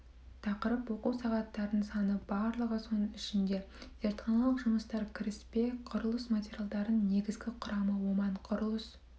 тақырып оқу сағаттарының саны барлығы соның ішінде зертханалық жұмыстар кіріспе құрылыс материалдарының негізгі құрамы оман құрылыс